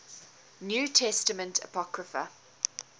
new testament apocrypha